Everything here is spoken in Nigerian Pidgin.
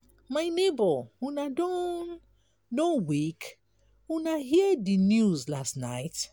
my nebor una don don wake? una hear di news last night?